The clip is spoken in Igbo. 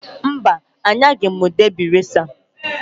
Mba! Anyaghị m debị reca.